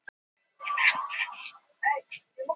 Vanar mikilvægum leikjum